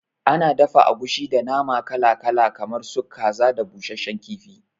Ana dafa agushi da nama kala kala kamar su kaza da busasshen kifi